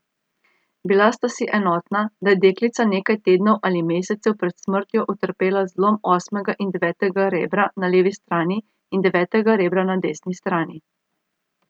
Bila sta si enotna, da je deklica nekaj tednov ali mesecev pred smrtjo utrpela zlom osmega in devetega rebra na levi strani in devetega rebra na desni strani.